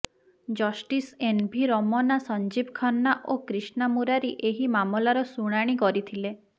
justice N V Ramana Sanjiv Khanna ଓ କ୍ରୀଷ୍ଣା ମୁରାରୀ ଏହି ମାମଲାର ଶୁଣାଣି କରିଥିଲେ